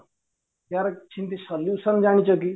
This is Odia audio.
ୟାର କିଛି ବି solution ଜାଣିଚ କି